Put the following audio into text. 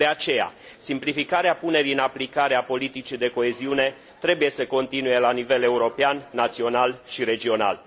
De aceea, simplificarea punerii în aplicare a politicii de coeziune trebuie să continue la nivel european, național și regional.